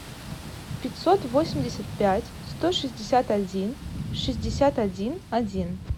пятьсот восемьдесят пять сто шестьдесят один шестьдесят один один